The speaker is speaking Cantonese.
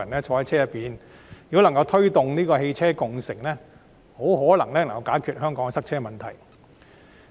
香港如果能夠推動汽車共乘，可能可以解決塞車問題。